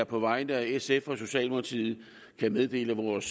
på vegne af sf og socialdemokratiet meddele vores